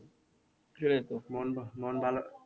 মন ভালো মন ভালো